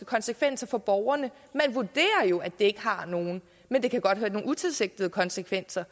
konsekvenser for borgerne man vurderer jo at det ikke har nogen men det kan godt have nogle utilsigtede konsekvenser